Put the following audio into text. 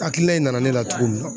Hakilina in nana ne la cogo min na